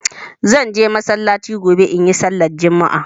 Zan je masallaci gobe in yi sallar Juma'a.